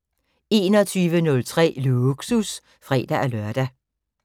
21:03: Lågsus (fre-lør)